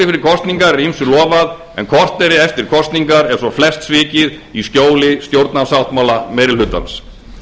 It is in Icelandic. fyrir kosningar er ýmsu lofað en korteri eftir kosningar er svo flest svikið í skjóli stjórnarsáttmála meiri hlutans